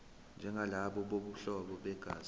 njengalabo bobuhlobo begazi